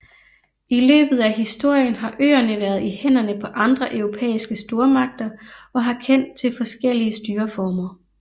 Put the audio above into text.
I løbet af historien har øerne været i hænderne på andre europæiske stormagter og har kendt til forskellige styreformer